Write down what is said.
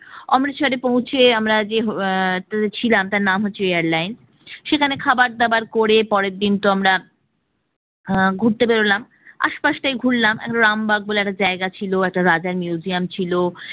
অমৃতসরে পৌঁছে আমরা যে hotel এআহ ছিলাম তার নাম হচ্ছে airline সেখানে খাবারদাবার করে পরের দিন তো আমরা আহ ঘুরতে বের হলাম আশপাশটা ঘুরলাম, রামবাগ বলে একটা জায়গা ছিল একটা রাজার museum ছিল